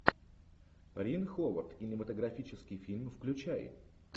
рин ховард кинематографический фильм включай